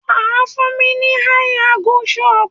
Wà á fún mi ní àì angú ṣọtì.